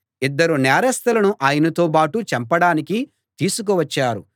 ఇద్దరు నేరస్తులను ఆయనతో బాటు చంపడానికి తీసుకు వచ్చారు